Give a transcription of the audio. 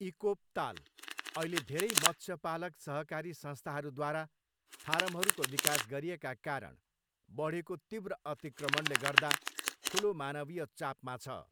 इकोप ताल अहिले धेरै मत्स्यपालक सहकारी संस्थाहरूद्वारा फारमहरूको विकास गरिएका कारण बढेको तीव्र अतिक्रमणले गर्दा ठुलो मानवीय चापमा छ।